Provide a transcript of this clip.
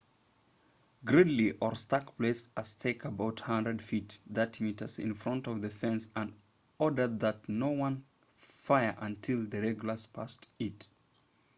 gridley or stark placed a stake about 100 feet 30 m in front of the fence and ordered that no one fire until the regulars passed it